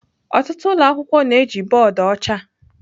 Ọtụtụ ụlọ akwụkwọ na-eji bọọdụ ọcha.